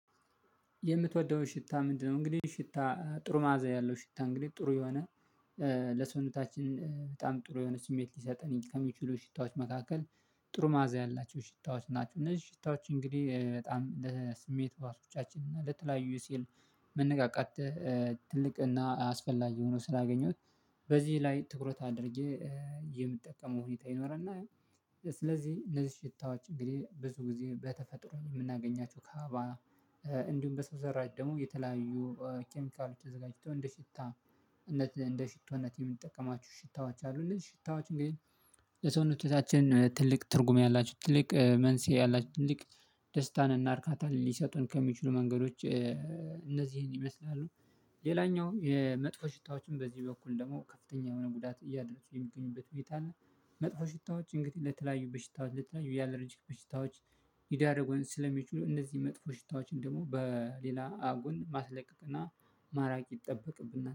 የምትወደውን ሽታ ምንድነው? እንግዲህ ሽታ ጥሩ ማዛ ያለው ሽታ እንግዲህ ጥሩ የሆነ ለሰውነታችን በጣም ጥሩ የሆነ ስሜት ሊሰጠን ከሚችሉ ሽታዎች መካከል ጥሩ ማዕዛ ያላቸው ሽታዎች ናቸው። እነዚህ ሽታዎች እንግዲህ በጣም ለስሜት ሀዋሶቻችን እና ለተለያዩ የሲል መነቃቃት ትልቅ እና አስፈላጊ ሆኖ ስላገኘሁት በዚህ ላይ ትኩረት አድርጌ የምጠቀመው ሁኔታ ይኖራል። እና ስለዚህ እነዚህ ሽታዎች እንግዲህ ብዙ ጊዜ በተፈጥሮ የምናገኛቸው ከአበባ እንዲሁም በሰው ዘራጭ ደግሞ የተለያዩ ኬሚካሎች ተዘጋጅቶ እንደ ሽታነት እንደ ሽቶነት የምንጠቀማችሁ ሽታዎች አሉ። እንደዚህ ሽታዎች እንግዲህ ለሰውነቶቻችን ትልቅ ትርጉም ያላችሁ ትልቅ መንስኤ ያላችሁ ትልቅ ደስታን እና እርካታን ሊሰጡን ከሚችሉ መንገዶች እነዚህን ይመስላሉ። ሌላኛው የመጥፎ ሽታዎችን በዚህ በኩል ደግሞ ከፍተኛ የሆነ ጉዳት እያደረሱ የሚገኙበት ቤት አለ። መጥፎ ሽታዎች እንግዲህ ለተለያዩ በሽታዎች ለተለያዩ ያላረጅክ በሽታዎች ሊዳረጉን ስለሚችሉ እነዚህ መጥፎ ሽታዎችን ደግሞ በሌላ ጎን ማስለቀቅና ማራቅ ይጠበቅብና